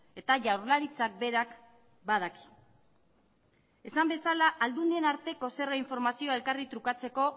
eta jaurlaritzak berak badaki esan bezala aldundien arteko zerga informazioa elkarri trukatzeko